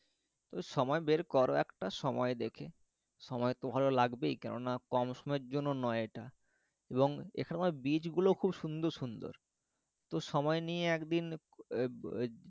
তো সময় বের করো একটা সময় দেখে সময় তো ভালো লাগবেই কেননা কম সময়ের জন্য নয় এটা এবং এখানকার bridge গুলো খুব সুন্দর সুন্দর তো সময় নিয়ে একদিন আহ